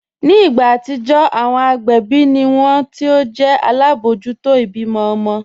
Ní ìgbà atijọ́, awọn agbẹbi ni wọn ti o jẹ̀ alábojútò ibímọ̀ ọmọ̀